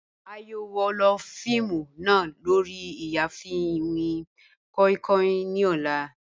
A yoo wo fiimu naa lori iyaafin iwin koi koi ni ọlá